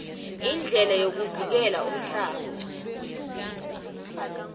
indlela yokuvikela umhlaba